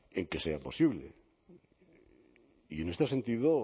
en que sea posible y en este sentido